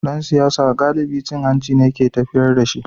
Dan siyasa galibi cin hanci ne ke tafiyar da shi.